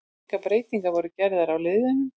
Engar breytingar voru gerðar á liðunum.